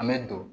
An bɛ don